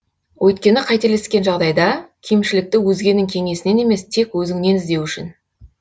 өйткені қателескен жағдайда кемшілікті өзгенің кеңесінен емес тек өзіңнен іздеу үшін